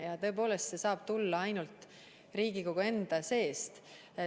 Ja tõepoolest, see saab tulla ainult Riigikogu enda seest.